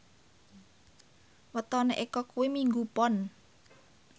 wetone Eko kuwi Minggu Pon